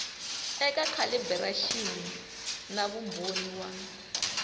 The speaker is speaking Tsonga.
eka calibiraxini na vumbhoni wa